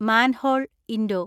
manhole (Indo